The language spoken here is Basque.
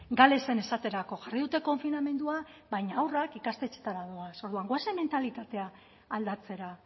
galesen esaterako jarri dute konfinamendua baina haurrak ikastetxeetara doaz orduan goazen mentalitatea aldatzera